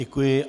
Děkuji.